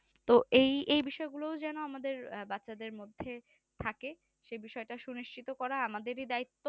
তো এই বিষয়ে গুলো যেন আমাদের বাচ্চাদের মধ্যে থাকে সেই বিষয়টা সুনিশ্চিত করা আমাদেরই দায়িত্ব।